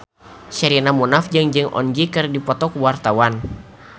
Sherina Munaf jeung Jong Eun Ji keur dipoto ku wartawan